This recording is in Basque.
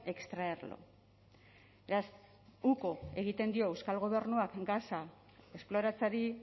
extraerlo beraz uko egiten dio euskal gobernuak gasa esploratzeari